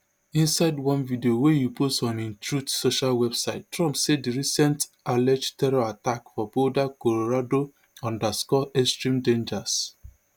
inside one video wey e post on im truth social website trump say di recent alleged terror attack for boulder colorado underscore extreme dangers